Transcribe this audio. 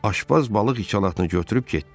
Aşpaz balıq içalatını götürüb getdi.